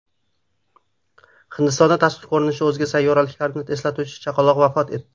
Hindistonda tashqi ko‘rinishi o‘zga sayyoraliklarni eslatuvchi chaqaloq vafot etdi.